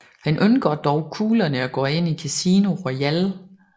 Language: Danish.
Han undgår dog kuglerne og går ind i Casino Royale